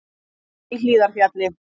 Opið í Hlíðarfjalli